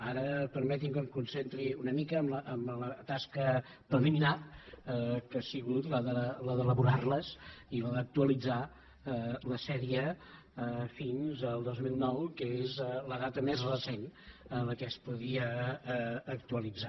ara permeti’m que em concentri una mica en la tasca preliminar que ha sigut la d’elaborar les i la d’actualitzar la sèrie fins al dos mil nou que és la data més recent en què es podia actualitzar